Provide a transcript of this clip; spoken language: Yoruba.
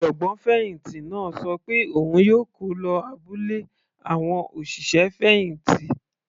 Ọ̀jọ̀gbọ́n fẹ̀hìntì náà ṣọ pé òun yóò kó lọ abúlé àwọn òṣìṣẹ́ fẹ̀hìntì.